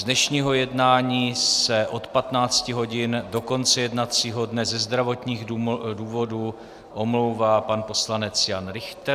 Z dnešního jednání se od 15 hodin do konce jednacího dne ze zdravotních důvodů omlouvá pan poslanec Jan Richter.